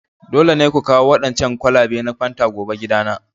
Dole ne ku kawo waɗancan kwalabe na fanta gobe gidana!